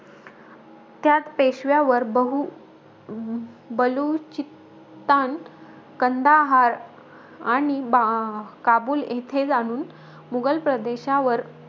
त्यात पेशव्यावर, बहू अं बलुचित्तान, कंदाहार आणि बा अं काबुल इथे जाणून, मुघल प्रदेशावर,